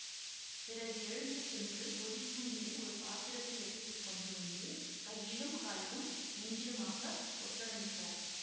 பிறகு எழுந்து சென்று கொதிக்கும் நீரை ஒரு பாத்திரத்தில் எடுத்து கொண்டு வந்து கையிலும் காலிலும் நெஞ்சிலுமாக ஒற்றடமிட்டார்